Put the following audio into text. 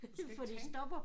Du skal ikke tænke